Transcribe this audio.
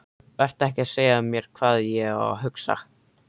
Vertu ekki að segja mér hvað ég á að hugsa!